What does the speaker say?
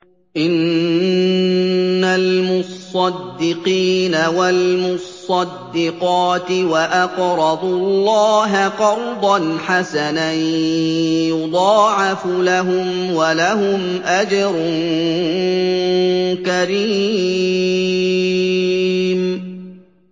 إِنَّ الْمُصَّدِّقِينَ وَالْمُصَّدِّقَاتِ وَأَقْرَضُوا اللَّهَ قَرْضًا حَسَنًا يُضَاعَفُ لَهُمْ وَلَهُمْ أَجْرٌ كَرِيمٌ